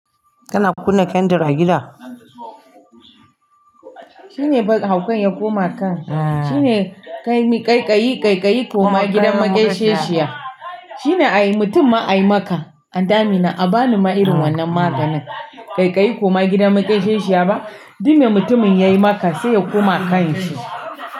Kana kunna kyandir a gida? Shine haukan ya koma kan. Shine kai ƙaiƙayi, ƙaiƙayi koma gidan maƙeshiya. Shine ay mutum ma ayi maka anti amina a bani ma irin wannan maganin. Ƙaiƙayi koma gidan maƙeshiya ba. Duk da mutumin yayi maka sai ya koma kan shi.